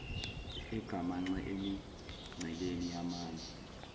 egamanxe emingceleni yamanye